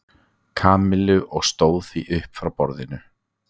Kamillu og stóð því upp frá borðinu.